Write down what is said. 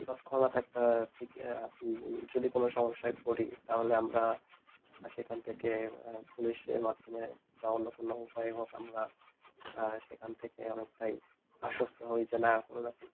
যদি কোনো সমস্যায় পড়ি তা হলে আমরা সেখান থেকে police এর মাধ্যমেই বা অন্য কোনো উপায় হোক আমরা সেখান থেকে অনেকটাই আশ্বস্ত হই যে না কোনো